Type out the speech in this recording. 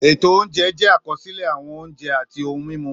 Ètò oúnjẹ jẹ́ àkọsílẹ̀ àwọn oúnjẹ àti ohun-mímu